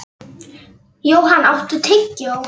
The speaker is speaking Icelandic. Johan, áttu tyggjó?